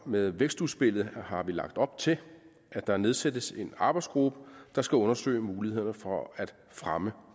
med vækstudspillet har lagt op til at der nedsættes en arbejdsgruppe der skal undersøge mulighederne for at fremme